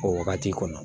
O wagati kɔnɔ